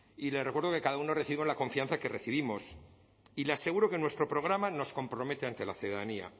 y le recuerdo que cada uno recibe la confianza que recibimos y le aseguro que en nuestro programa nos compromete ante la ciudadanía